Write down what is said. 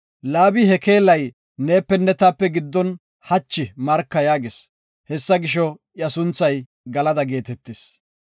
Laabi, “Ha keelay neepenne taape giddon hachi marka” yaagis. Hessa gisho, iya sunthay Galada geetetis.